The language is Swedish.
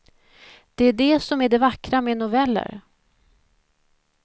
Det är det som är det vackra med noveller.